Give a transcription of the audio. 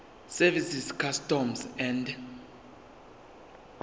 service customs and